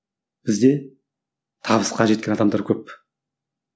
бізді табыс қажеттілік адамдар көп